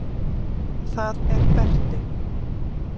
Það er Berti.